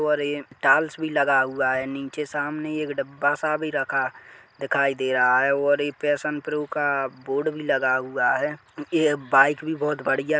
और ये टालस भी लगा हुआ है। नीचे सामने एक डब्बा सा भी रखा दिखाई दे रहा है और एक पैशन प्रो का बोर्ड भी लगा हुआ है। ए बाइक भी बहुत बढ़िया--